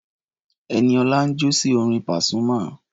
Ẹniọlá ń jó sí orin Pasuma.